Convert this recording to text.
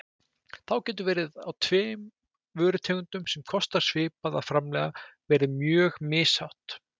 Þá getur verð á tveim vörutegundum sem kostar svipað að framleiða verið mjög mishátt.